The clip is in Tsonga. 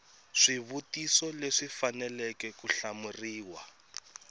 swivutiso leswi faneleke ku hlamuriwa